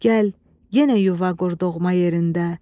Gəl, yenə yuva qur doğma yerində.